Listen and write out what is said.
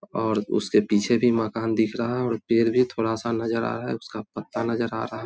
और उसके पीछे भी मकान दिख रहा है और पेड़ भी थोड़ा-सा नजर आ रहा है उसका पत्ता नजर आ रहा है।